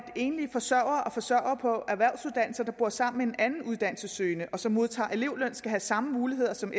enlige forsørgere og forsørgere på erhvervsuddannelser der bor sammen med en anden uddannelsessøgende og som modtager elevløn skal have samme muligheder som